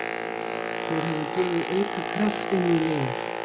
Þeir hafa gefið auka kraft inn í liðið.